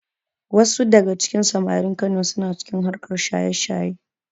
Wasu daga cikin samarin Kano suna cikin harkar shaye-shayen.